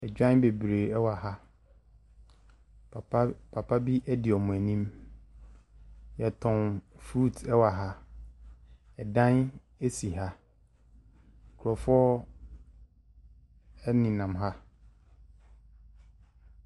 Odwan bebree ɛwɔ ha, papa di wɔn anim. Yɛtɔn frut ɛwɔ ha. Ɛdan ɛsi ha. Nkorofoɔ ɛnenam ha.